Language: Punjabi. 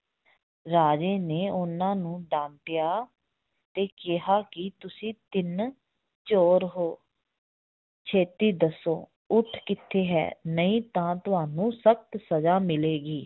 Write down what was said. ਰਾਜੇ ਨੇ ਉਹਨਾਂ ਨੂੰ ਡਾਂਟਿਆ ਤੇ ਕਿਹਾ ਕਿ ਤੁਸੀਂ ਤਿੰਨ ਚੋਰ ਹੋ ਛੇਤੀ ਦੱਸੋ ਊਠ ਕਿੱਥੇ ਹੈ ਨਹੀਂ ਤਾਂ ਤੁਹਾਨੂੰ ਸਖ਼ਤ ਸਜ਼ਾ ਮਿਲੇਗੀ